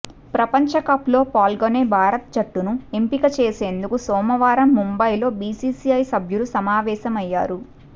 ప్రపంచకప్లో పాల్గొనే భారత జట్టును ఎంపిక చేసేందుకు సోమవారం ముంబైలో బీసీసీఐ సభ్యులు సమావేశమయ్యారు